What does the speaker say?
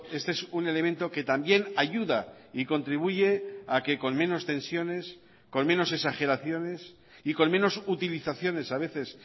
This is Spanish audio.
este es un elemento que también ayuda y contribuye a que con menos tensiones con menos exageraciones y con menos utilizaciones a veces